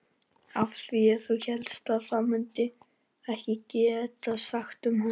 Af því að þú hélst að við mundum ekkert geta sagt um hana.